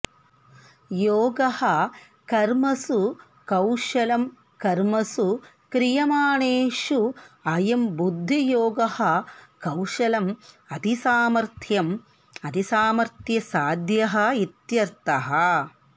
योगः कर्मसु कौशलं कर्मसु क्रियमाणेषु अयं बुद्धियोगः कौशलम् अतिसामर्थ्यम् अतिसामर्थ्यसाध्यः इत्यर्थः